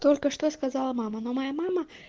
только что сказала мама но моя мама